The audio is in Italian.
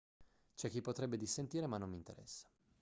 c'è chi potrebbe dissentire ma non mi interessa